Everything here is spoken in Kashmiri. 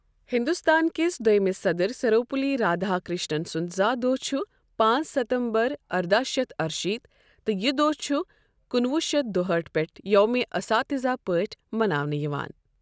ہندوستان کِس دۄیٚمِس صدٕر سروپلی رادھا کرشنن سُنٛد زاہ دۄہ چھُ پانٛژھ ستمبر ارداہ شتھ اَرٕشیٖتھ تہٕ یہِ دۄہ چھُ کُنہٕ وُہ شَتھ دُہٲٹھ پٮ۪ٹھٕ یوم اساتذہ پٲٹھۍ مناونہٕ یِوان۔